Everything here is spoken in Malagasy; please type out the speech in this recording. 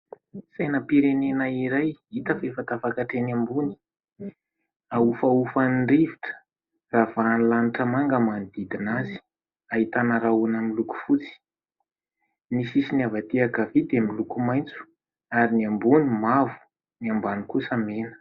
Sainam-pirenena iray hita fa efa tafakatra eny ambony, ahofahofan'ny rivotra ravahan'ny lanitra manga manodidina azy, ahitana rahona miloko fotsy. Ny sisiny avy aty ankavia dia miloko maitso ary ny ambony mavo, ny ambany kosa mena.